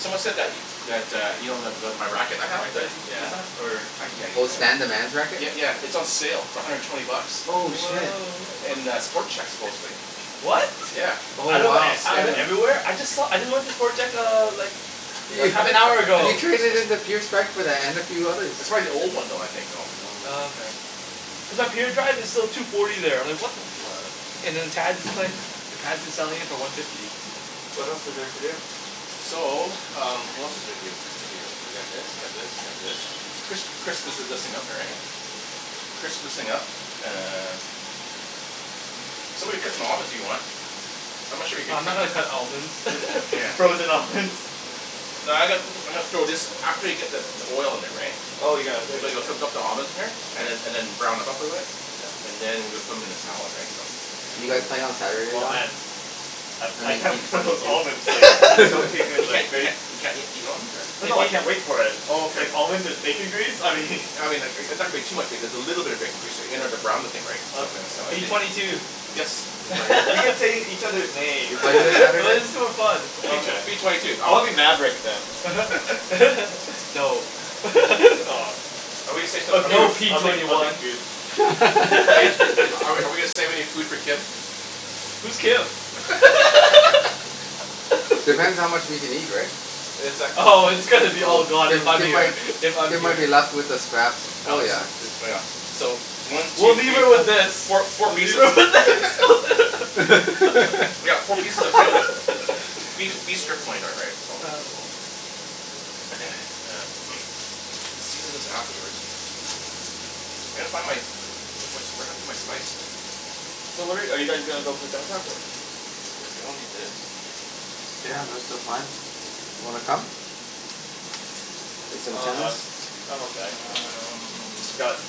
Someone said that that, uh, you know the the my racket I Can have, I that use that or I can, yeah, I'll Oh, use Stan the that. man's racket? Yeah, yeah. It's on sale for a hundred and twenty bucks. Oh Oh shit. wow. In the Sport Chek supposedly. What? Yeah. Oh I know, wow. I went everywhere. I just saw, I just went to Sport Chek uh, like half an hour You ago. traded in and a few others. It's probably the old one though, I think, you know. Oh, Oh. okay. Cuz up here, the drive is still two forty there. Like what the fuck selling it for one fifty. What else is there to do? So, um what else is there to do here, what's here, you got this, you got this, you got this. Crisp, crisp this is up here, right? Okay. Crisp this thing up uh Somebody cut them almonds, if you want. I'm not sure you can Uh I'm not cut gonna cut almonds. the Yeah. Frozen almonds. No, I'm gonna put, I'm gonna throw this after you get the the oil in there, right. Oh, you're gonna put it in there? the almonds in here. And then and then brown them up a bit. Yeah. And then, we'll put them 'em in the salad, right. So You Ooh. guys playing on Saturday, Oh Don? man. I I I mean can't P wait for twenty those two. almonds like soak your hand You like can't you can't you can't eat eat almonds, or? Oh no I can't wait for it. Oh, okay. Like almonds and bacon grease, I mean I mean like, and that would be too much because a little bit of bacon grease there, you know, to brown the thing, right. So, Okay, P whatever. if it twenty two. Yes? Are you playing? You can say each other's names. That is too fun. Okay. P twenty two. I'll be Maverick then. No. Aw. Are Or we No, Goose. P I'll gonna take twenty I'll say take one. Goose. something? Are we are we gonna save any food for Kim? Who's Kim? Depends how much we can eat, right? Oh, it's gonna be all gone Kim if I'm Kim here, might if I'm Kim might here. be left with the scraps. Oh, yeah. Dude. Oh yeah. So, one, two, We'll three, leave her with fo- this. four four We'll leave pieces her with this. We got four pieces of tender beef beef strip loin though, right? So. Then sear this afterwards. I gotta find my, where's my, what happened to my spices? So where are you guys gonna go play tennis this afternoon? I don't need this. Yeah, that's the plan. Wanna come? Play some Oh no, tennis. I'm okay. I got Um.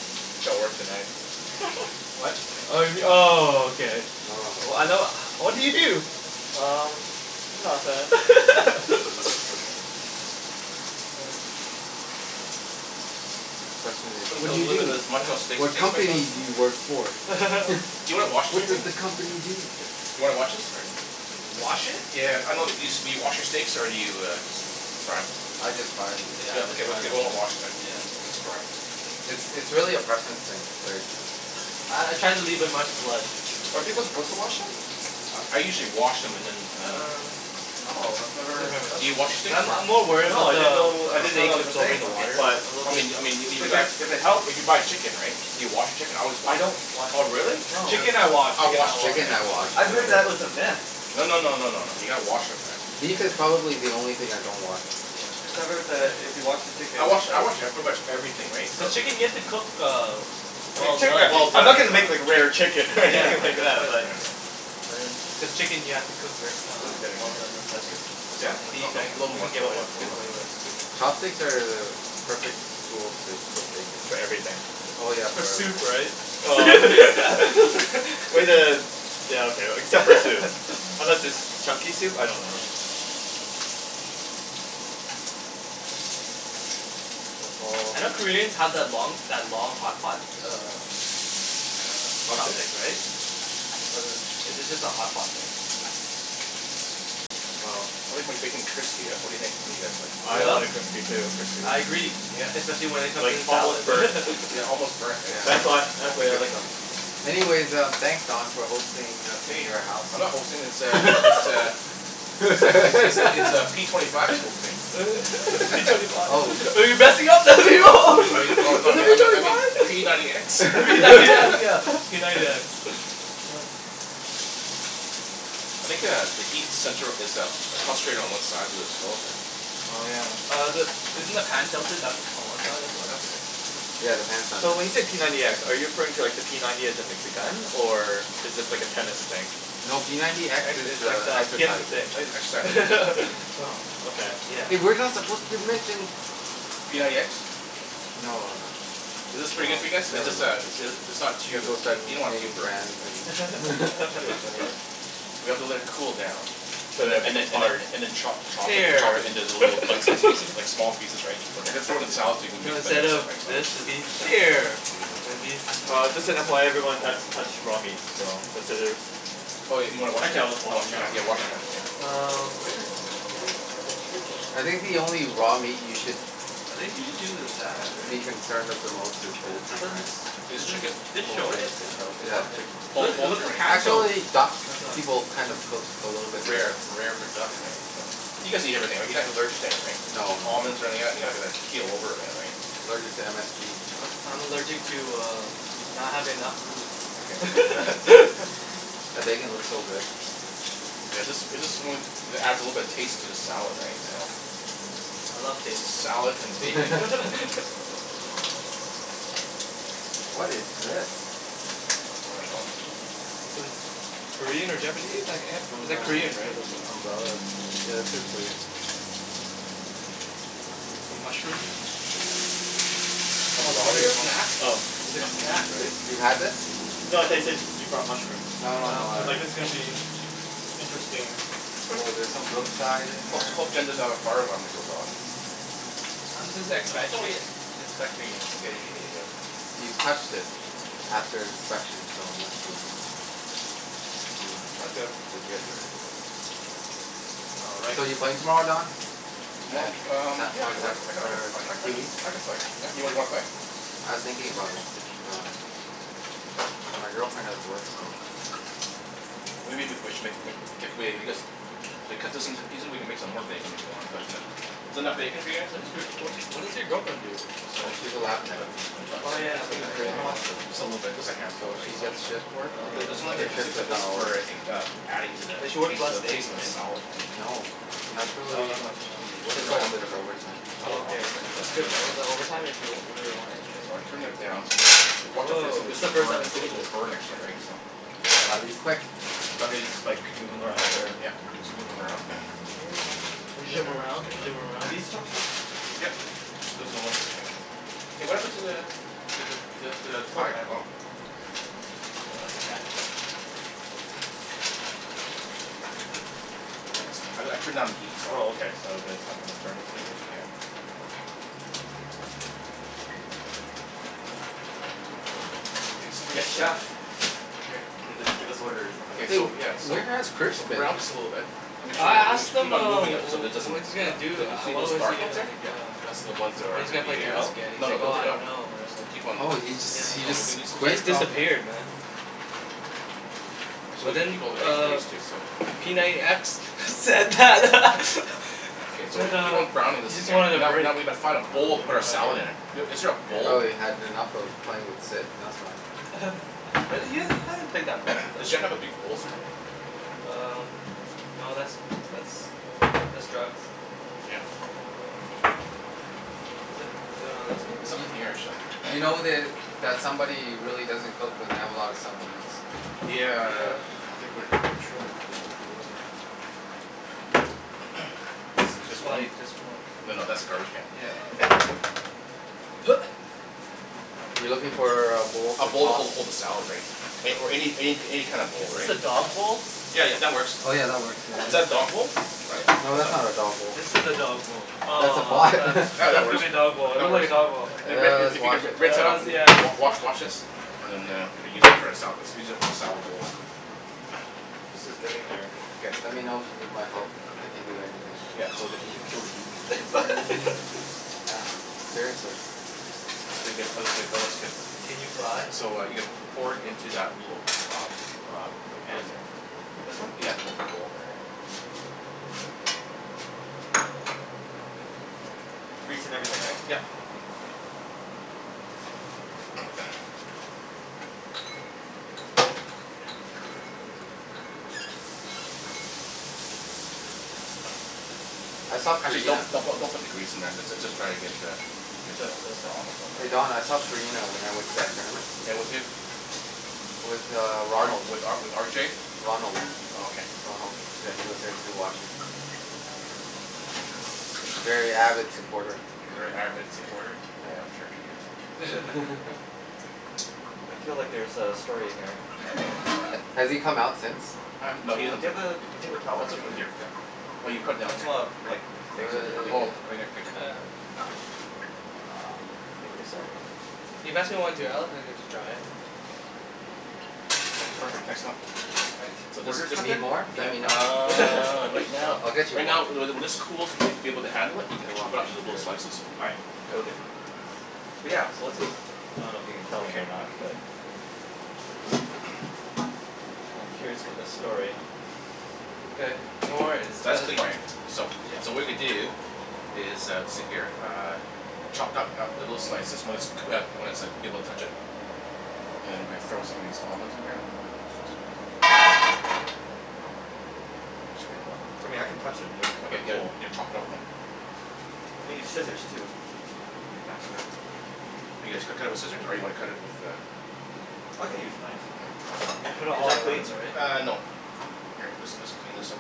work tonight What? Oh you m- oh, okay. Oh. I know what do you do? Um, nothing. There you go. The question is Put a put "What do a you little bit do? of this Montreal steak What steak spice on company this do you work for?" Do you wanna wash it "What for does me? the company do?" Do you wanna wash this or? Wash it? Yeah. I know it used to be, do you wash your steaks or do you just fry 'em? I just fry them. Yeah. Okay, okay, we're not washing then. Yeah. Just fry 'em. It's it's really a preference thing, right. Uh I try to leave in much blood. Are people supposed to wash them? I I usually wash them and then and then Uh Oh, I've never Do you wash steaks Uh I'm I'm or? more worried No. about I didn't the know I didn't know steak that was a absorbing thing. the Okay. water. But I mean, I mean, if you if buy, it if it helps if you buy chicken, right? Do you wash your chicken? I always I wash don't wash the Oh, really? chicken. No. Chicken I wash, I chicken wash I wash. chicken. Chicken Yeah. I wash I've for heard sure. that was a myth. No no no no. You gotta wash 'em, man. Beef is probably the only thing I don't wash. Cuz Yeah. I've heard that if you wash the chicken I wash I wash, yeah, pretty much everything, right, so The chicken you have to cook uh I mean well chicken, done. Well I'm not done. gonna make like rare chicken Yeah, like that's why I was like, yeah But chicken you have to cook wer- uh well done as well. That's good. Yeah? No, no. A little Little more, more. little more. Chopsticks are the perfect tool to cook bacon. For everything. Oh yeah. For soup, right? Way to, yeah okay, except for soup. Unless it's chunky soup, I don't know. Yeah. I know Koreans have that long that long hot pot, uh Chopstick, Chopstick? right? Was it, is it just a hot pot thing? I like my bacon crispy, yeah? What do you think? What do you guys think? I want it crispy too. I agree. Especially when it comes to Like the almost salad. burnt. Yeah, almost burnt, right, That's so what, that's the way I like it. Anyways, um, thanks Don for hosting us in Hey, your house. I'm not hosting this uh, this uh It's like, it's it's it's uh p twenty five who's hosting. P twenty five Oh. I mean, oh no, I mean, I me- I mean, p ninety x P ninety x, yeah, p ninety x. I think uh, the heat center is uh, concentrated one side of the stove here. Oh yeah. Uh the, isn't the pan tilted back on one side as Yeah, well? that's okay. Yeah, the pan's not So when tilted. you say p ninety x, are you referring to like the p ninety as in like the gun? Or is this like a tennis thing? No, p ninety x X is is like uh the Kim exercising I need an exercise thing. Oh, okay. Yeah. Hey, we're not supposed to mention P ninety x? No. Is Oh this pretty good well, for you guys? It's never just uh mind. it's it's not too, You guys both started you don't wanna too naming burnt, brands and that's the thing. We have to let it cool down. And then and then and then, chop chop it chop Hair it into little bite size pieces, like small pieces, right. You Okay. gotta I throw it in can the do salad, so we that. can No, mix and instead mix it, of right, so this, it'd be Mkay. hair. And it'd be Uh just an FYI everyone, that's touched raw meat. So, consider Oh, you you wanna wash Actually your I'll hand? wash them now. Yeah. Wash your hands, yeah. Um where is the detergent? I think the only raw meat you should It think she just uses that, be right? concerned of the most is But I poultry, thought right. This chicken? dish soap Is it Yeah, what? of chicken. It Poul- looks it poultry, looks like right? hand soap, Actually, I duck, thought. people kind of cook a little bit Rare, rare. rare for duck, Yeah. right? You guys eat everything, right? You're not allergic to anything? No no no Almonds or any no. of that? You're not gonna keel over or any of that, right? I'm allergic to MSG. Uh I'm allergic to uh not having enough Okay. food That bacon looks so good. Yeah. This, is this the one that adds a little bit of taste to the salad, right? So Yeah. I love taste. Salad and bacon. What is this? I dunno. Sort of Korean or Japanese It's like, some it's uh like sort Korean, right? of umbrella that's, yeah, this is Korean. Some mushrooms? Some kind of snack? It's a snack, right? You've had this? No, I said I said you brought mushrooms. No no I no was like, this is gonna be interesting. Oh, there's some Brookside in Hope there. t- hope Jen doesn't have a fire alarm that goes off. I'm just expect- like inspecting it. You've touched it after inspection so unless you eat 'em I'm Mm, good. legit, right? All right. So, you playing tomorrow, Don? Tomo- um yeah I I can I can Or I can I c- Huey? I can play, yeah. You wanna play? I was thinking about it, but uh. My girlfriend has work so Maybe we c- we sh- if we cut this into the pieces, we can make some more bacon, if you want? But uh is that enough bacon for you guys? What does your wh- what does your girlfriend do? So, So, we she's a lab can tech. put the nuts Oh yeah It's open in for you, how much? hospital. Just a little bit. Just a handful, So right. she So gets shift Um work. Her shift is not always the same. adding to the But she works tas- to less the days, taste of the right? salad, right? No. Do you want, I dunno know Actually, how much you want. she works These are quite a alm- bit these of are overtime. Oh whole okay. almonds right? That's good though. Is that overtime if you if you really wanted? So I turned it down. So watch out for this one Woah, this it's the one's first time burnt, I'm this seeing one will this. burn actually right so I'll be quick. Want me to just like, move them around, or? Yep. Just move 'em around. There you go. Bouge Shit. them It's around. good Bouge enough. them Are around. these chopsticks? Yep. Okay. Hey what happened to the the the the the the fire, oh. No elastic band? Thanks. I I turned down the heat so Oh okay. So that's not gonna burn Yeah yeah. Okay so we Yes get to chef. K. Give us orders and Ok then So so yeah, so where has Chris so been? brown this a little bit. Make Okay. sure I you, you asked ma- keep him on uh moving them wh- so it wh- doesn't, what he's gonna do, you don't see uh those what was dark the ones uh, here? like Yep. uh That's all the ones that are when he's gonna gonna play be Take them uh. tennis out? again and he's No no, like don't "Oh take I them out. don't know. I Just don't know." keep on Oh he just, keep he on just moving these Yeah. ones He here. quit? just Oh. disappeared man. Actually we But could then keep all the bacon uh grease too, so. p ninety x said that Okay so we said keep uh on browning he this just again, wanted a now break. now we need to find a bowl No to put our salad idea. in. Is there a bowl? Probably had enough of playing with Sid. That's why. But then you you haven't played that much with Does him. Jen have a big bowl somewhere? Um, no, that's that's that's drugs. Yeah. Is that is that on There's this one? Y- nothing here actually. you know that, that somebody really doesn't cook when they have a lot of supplements. Yeah. Yeah. I think we're having trouble with where the bowls are at. This is Just white, fine, just more. no no, that's a garbage Yeah. can. You're looking for uh a bowl A to bowl to toss hold hold the hold the salad right, or any any any kind of Is bowl this right. a dog bowl? Yeah, yeah, that works. Oh yeah, that works. Is that a dog bowl? That's not a dog, No, that's that's not not a dog a bowl. This is a dog bowl. That's a Aw I pot. thought I thought That that that was gonna works. be a dog bowl, it That looked works. like a dog bowl. Hey Rick if Let's if you wash can it. rinse that out, Hells yes. wa- wa- wash wash this. And then uh re-use it for a sala- let's use it as a salad bowl. This is getting there. Okay. Let me know if you need my help. I can do anything. Yeah, well it would it would kill the heat. Yeah, seriously. It's pretty good. It looks good, it looks good. Can you fly? So, uh, you could pour it into that little uh uh pan This there. one? This one? Yeah. Little bowl there. Yep. Grease and everything, right? Yep. I saw Actually don't, Karina don't don't put the grease in there, just uh just try to get the get the Just Hey Don, I saw Karina when I went to that tournament. Yeah, with who? With uh R Ronald. with uh with R J? Ronald. Oh okay. Ronald, yeah he was there too watching. Very avid supporter. A very avid supporter? Yeah, I'm sure he is. I feel like there's a story here. Has he come out since? Um Uh no, do he doesn't you ta- have a paper towel, I Let's all can put it here Here, for now. here. Well you put it I down just here. wanna wipe the things Oh right here, paper towel. Thank you sir. Can you pass me one too Perfect, thanks a lot. Right, So what this is just just, Need happened? more? Let yeah, me know. uh, right now, I'll get you right more. now, when this when this cools and you'll be able to handle it. You can chop it up into little slices. Alright, cool dude. But yeah, so what's this? I don't know if you can tell me or not but I'm curious about this story. Okay, no worries. That's clean right. So, Yeah. so what we're gonna do is uh see here. Uh chopped up little slices when it's cook- when it's like, you be able to touch it, and then you gonna be- throw some of these almonds in here. I mean I can touch them, Okay. they're Yeah you need to chop it up now. We need scissors too. It'd be faster. You guys cu- cut it with scissors? Or you wanna cut it with uh I can use a knife. Yeah. Put it Is all that at clean? once, right? Uh, no. Here this this clean this up.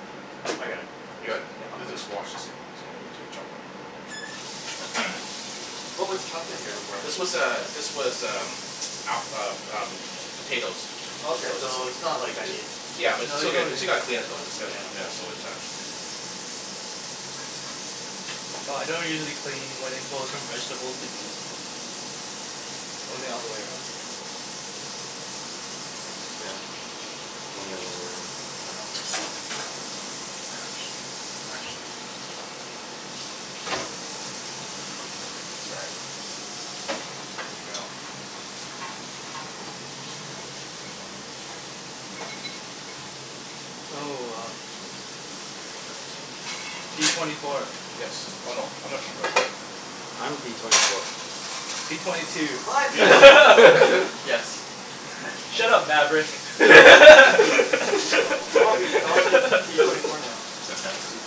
Okay. I got it. You Yeah, got it? I'll clean Just just wash this thing. What was chopped in here before? This was uh this was um app- um um potatoes. Okay, So so just it's not like I need Yeah but No, still you got- don't still need gotta clean it though, it's gotta, Yeah. yeah, so it's not Well I don't usually clean when it goes from vegetables to meat. Only the other way around. Yeah. Only the other way around. Actually. Actually. Sorry. There we go. Oh uh p twenty four. Yes. Oh no. I'm not p twenty four. I'm p twenty four. P twenty two. I'm p twenty four. Yes. Shut up Maverick. Aw I wanna spea- I wanna speak with p twenty four now.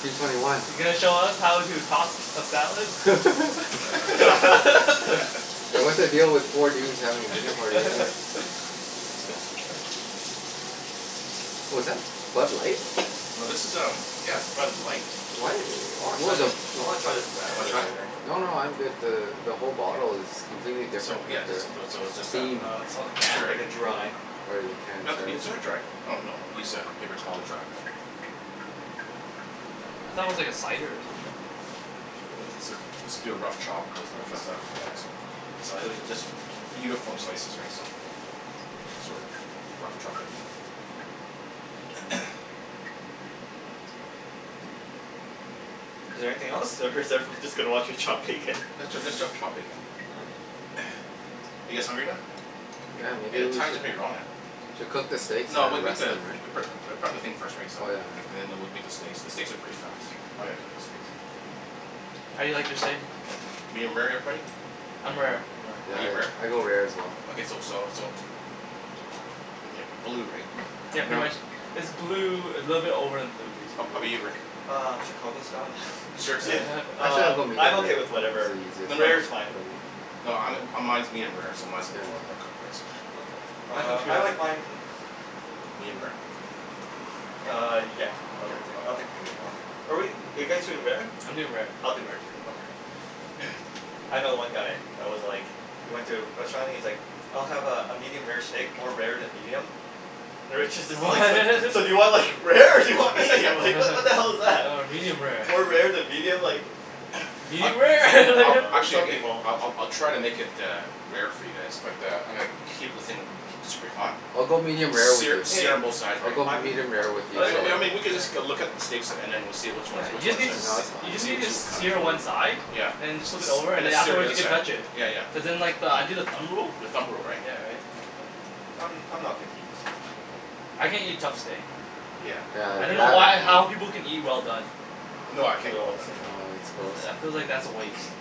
P twenty one. You gonna show us how to toss a salad? And what's the deal with four dudes having a dinner party What was that? Bud Light? No this is um, yeah, Bud Light, What? I wanna try What the this the I wanna try this radler wanna try? later. No no, I'm good. The the whole bottle is completely So different yeah, than just, their those, so it's just a. theme. Uh Oh, the Make can? it's, sure. like a dry. Or their Doesn't can, have to sorry. be Is super it? dry. Oh no, use a paper towel to dry. I thought it was like a cider or something. Let's do a rough chop put this Rough into chop? stuff, yeah Okay. so. So I literally just Uniform slices right so. Sorta, rough chopping Is there anything else or is everyone just gonna watch me chop bacon? Let's ju- let's just chop bacon. Are you guys hungry now? Yeah, Hey maybe the we time's should pretty wrong uh. Should we cook the steaks No and we'll then make rest the, them pre- right? pre- prep the thing first right so Oh yeah, no no. and then we'll make the steaks, the steaks are pretty fast. I'm gonna cook the steaks. How do you like your steak? Medium rare, everybody? I'm rare. Are Yeah, you rare? I go rare as well. Okay so so so But like blue, right? Yeah pretty No. much, is blue, a little bit over than blue How how 'bout basically. you Rick? Uh Chicago style yeah, Seriously? Actually I'll um go I'm medium rare. okay with It's whatever, the easier No no, rare is fine. no, um mine mine is medium rare so mine's mine's gonna be more more cooked right so. Okay, uh I like mine Medium rare? Uh yeah, I'll take, I'll Okay. take medium rare. Okay. But wait, are you guys doing rare? I'm doing rare. I'll do rare too. Okay. I know one guy that was like, he went to a restaurant and he's like, "I'll have uh a medium rare steak, more rare than medium." The waitress is Oh like "So so do you want like rare, or do you want medium, like what the hell is that?" medium rare. More rare than medium, like Yeah. I Medium rare Oh I'll no, like actually some people I'll I'll try to make it uh rare for you guys but uh I'm gonna keep the thing keep super hot, I'll go medium rare with sear you, Hey, sear on both sides I'll right. go I'm medium rare with you I so w- I mean we could just go look up the steaks and then we'll see which Yeah, ones, which you just one's need that, to No, s- that's , you fine. just see need which to we'll cut. sear one side, Yeah. and then just flip it S- over and and then sear the afterwards other you can side. touch it, Yeah yeah. cuz then like I do the thumb rule. The thumb rule, right. Yeah right. I'm I'm not picky. I can't eat tough steak. Yeah. Yeah, I dunno why or how that people can eat well done. No, Do I can't it eat all well at the done. same No, time. it's gross. I I feel like that's a waste.